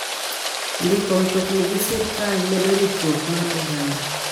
Ndiko mtokni gi sirkal medo ritruok mar oganda.